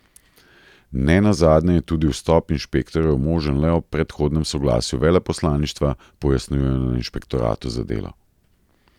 Ne nazadnje je tudi vstop inšpektorjev možen le ob predhodnem soglasju veleposlaništva, pojasnjujejo na inšpektoratu za delo.